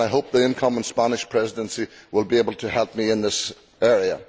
I hope the incoming Spanish Presidency will be able to help me in this area.